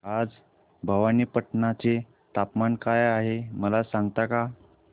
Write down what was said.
आज भवानीपटना चे तापमान काय आहे मला सांगता का